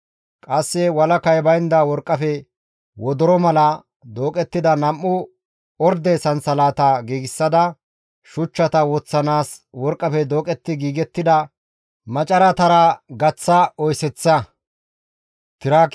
Qasse walakay baynda worqqafe wodoro mala dooqettida nam7u orde sansalatata giigsada, shuchchata woththanaas worqqafe dooqetti giigettida macaratara gaththa oyeseththa.